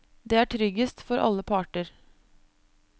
Det er tryggest for alle parter.